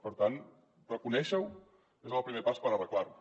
per tant reconèixer ho és el primer pas per arreglar ho